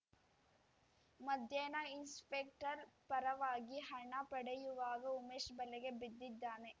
ಮಧ್ಯಾಹ್ನ ಇನ್ಸ್‌ಪೆಕ್ಟರ್‌ ಪರವಾಗಿ ಹಣ ಪಡೆಯುವಾಗ ಉಮೇಶ್‌ ಬಲೆಗೆ ಬಿದ್ದಿದ್ದಾನೆ